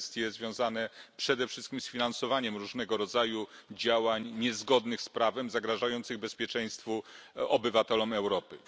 Kwestie związane przede wszystkim z finansowaniem różnego rodzaju działań niezgodnych z prawem, zagrażających bezpieczeństwu obywateli Europy.